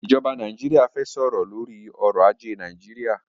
ij̀ọba Nàìjíríà fẹ́ sọ̀rọ̀ lórí ọrọ̀ ajé Nàìjíríà.